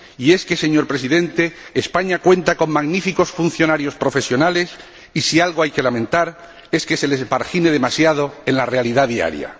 Y, es que, señor Presidente, España cuenta con magníficos funcionarios profesionales, y si algo hay que lamentar es que se les margine demasiado en la realidad diaria.